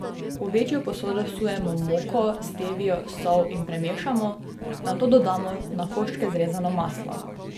V večjo posodo vsujemo moko, stevio, sol in premešamo, nato dodamo na koščke zrezano maslo.